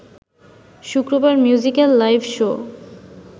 শুক্রবার musical live show